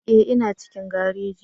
Ee, ina cikin gareji